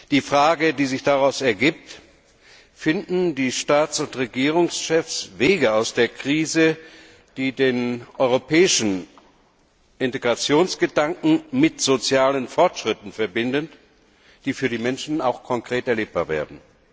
Die Frage, die sich daraus ergibt Finden die Staats und Regierungschefs Wege aus der Krise, die den europäischen Integrationsgedanken mit sozialen Fortschritten verbinden, die für die Menschen auch konkret erlebbar werden?